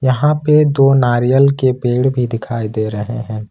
यहां पे दो नारियल के पेड़ भी दिखाई दे रहे हैं।